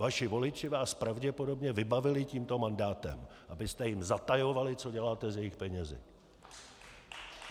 Vaši voliči vás pravděpodobně vybavili tímto mandátem, abyste jim zatajovali, co děláte s jejich penězi.